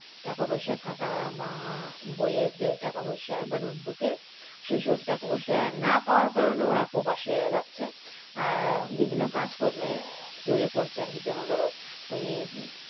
টাকা পয়সা কাতার বা বউয়ের যে টাকা-পয়সা বা notebook সেসব টাকা পয়সা না পাওয়ার কারণে ওরা প্রবাসে যাচ্ছে আর বিভিন্ন কাজকর্ম যদিও করছে আর কি যেমন ধরো ওই